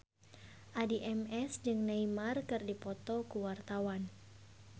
Addie MS jeung Neymar keur dipoto ku wartawan